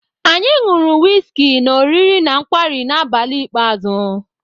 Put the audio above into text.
Anyị ṅụrụ wịzkị na oriri na nkwarị na abalị ikpeazụ.